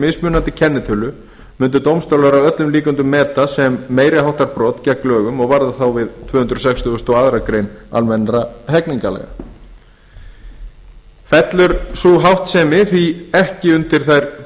mismunandi kennitölu mundu dómstólar að öllum líkindum meta sem meiri háttar brot gegn lögum og varða þá við tvö hundruð sextugustu og aðra grein almennra hegningarlaga fellur sú háttsemi því ekki undir þær